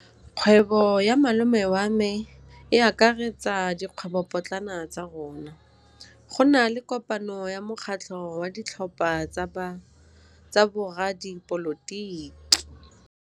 Kgwêbô ya malome wa me e akaretsa dikgwêbôpotlana tsa rona. Go na le kopanô ya mokgatlhô wa ditlhopha tsa boradipolotiki.